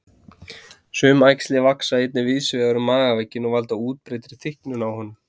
Sum æxli vaxa einnig víðs vegar um magavegginn og valda útbreiddri þykknun á honum.